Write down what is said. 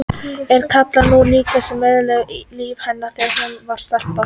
En það kallaði hún líka þá sem eyðilögðu líf hennar þegar hún var stelpa.